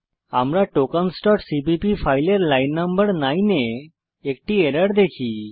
আমরা tokensসিপিপি ফাইলের লাইন নং 9 এ একটি এরর দেখি